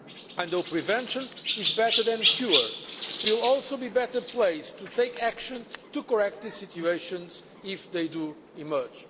Although prevention is better than cure, we will also be better placed to take action to correct these situations if they do emerge.